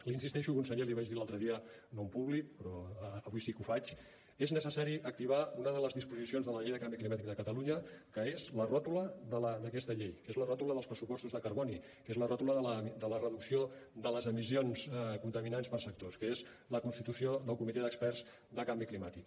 hi insisteixo conseller l’hi vaig dir l’altre dia no en públic però avui sí que ho faig és necessari activar una de les disposicions de la llei de canvi climàtic de catalunya que és la ròtula d’aquesta llei que és la ròtula dels pressupostos de carboni que és la ròtula de la reducció de les emissions contaminants per sectors que és la constitució del comitè d’experts de canvi climàtic